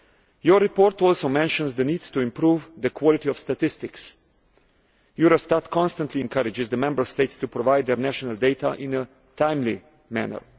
Your report also mentions the need to improve the quality of statistics. Eurostat constantly encourages the Member States to provide their national data in a timely manner.